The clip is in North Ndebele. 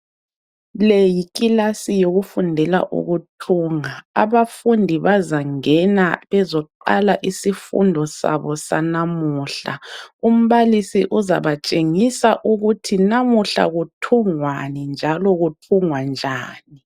Le yikilasi yokufundela ukuthunga. Abafundi bazangena bezoqala isifundo sabo sanamuhla. Umbalisi uzabatshengisa ukuthi namuhla kuthungwani njalo kuthungwa njani.